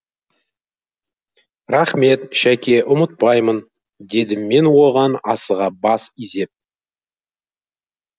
рақмет шәке ұмытпаймын дедім мен оған асыға бас изеп